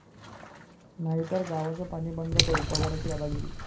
...नाहीतर गावचं पाणी बंद करू, पवारांची दादागिरी